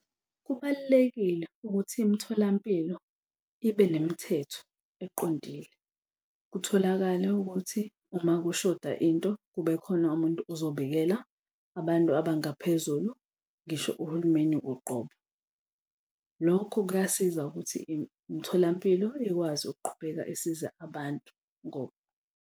Kubalulekile ukuthi imitholampilo ibe nemithetho eqondile. Kutholakale ukuthi uma kushoda into kube khona umuntu ozobikela abantu abangaphezulu, ngisho uhulumeni uqobo, lokhu kuyasiza ukuthi umtholampilo ikwazi ukuqhubeka isize abantu .